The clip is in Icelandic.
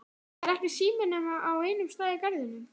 Er ekki sími nema á einum stað í Garðinum?